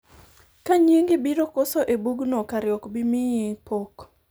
ka nyingi biro koso e bugni kare ok bi miyi pok